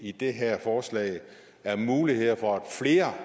i det her forslag er mulighed for at flere